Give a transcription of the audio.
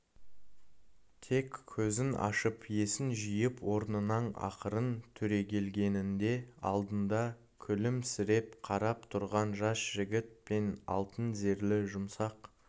тек көзін ашып есін жиып орнынан ақырын түрегелгенінде алдында күлімсіреп қарап тұрған жас жігіт пен алтын зерлі жұмсақ